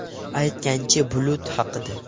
Aytgancha, bulut haqida.